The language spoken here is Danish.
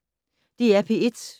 DR P1